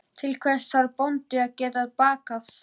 Til hvers þarf bóndi að geta bakað?